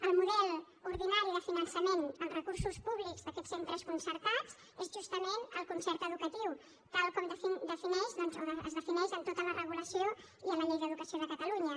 el model ordinari de finançament amb recursos públics d’aquests centres concertats és justament el concert educatiu tal com es defineix en tota la regulació i a la llei d’educació de catalunya